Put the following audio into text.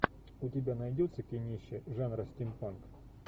у тебя найдется кинище жанра стим панк